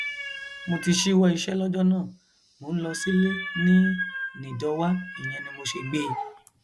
mo ti ṣíwọ iṣẹ lọjọ náà mò ń lọ sílé ní nìdọwá ìyẹn ni mo ṣe gbé e